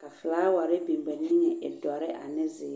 ka folaware biŋ ba niŋe e dɔrre ane zeer.